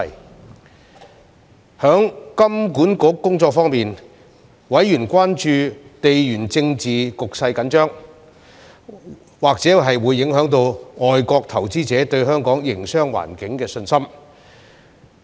在香港金融管理局的工作方面，委員關注到地緣政治局勢緊張，或會影響外國投資者對香港營商環境的信心。